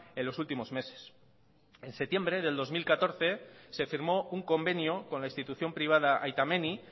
en los últimos meses en septiembre de dos mil catorce se firmó un convenio con la institución privada aita menni